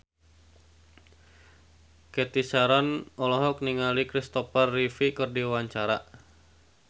Cathy Sharon olohok ningali Christopher Reeve keur diwawancara